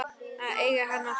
Að eiga hann alltaf.